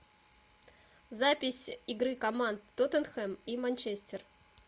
запись игры команд тоттенхэм и манчестер